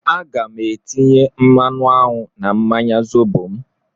Aga m etinye mmanụ aṅụ na mmanya Zobo m